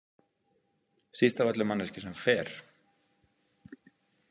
Síst af öllu manneskju sem fer.